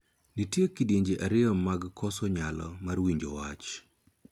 Nitie kidienje ariyo mag koso nyalo mar winjo wach.